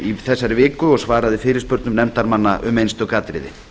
í þessari viku og svaraði fyrirspurnum nefndarmanna um einstök atriði